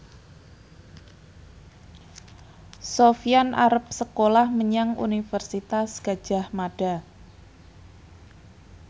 Sofyan arep sekolah menyang Universitas Gadjah Mada